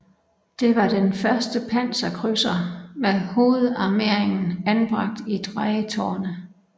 Det var den første panserkrydser med hovedarmeringen anbragt i drejetårne